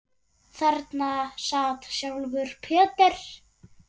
Þarna sat sjálfur Peter